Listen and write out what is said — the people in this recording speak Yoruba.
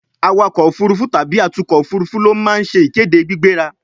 awakọ̀ òfurufú tàbí atukọ̀ òfurufú ló ma ń se ìkéde gbígbéra